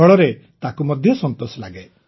ଫଳରେ ତାକୁ ମଧ୍ୟ ସନ୍ତୋଷ ଲାଗେ